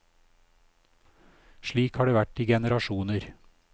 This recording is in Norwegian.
Slik har det vært i generasjoner.